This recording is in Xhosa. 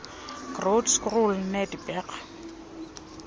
groote schuur netygerberg